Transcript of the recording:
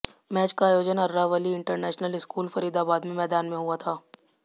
match का आयोजन Aravali international school Faridabad में मैदान में हुआ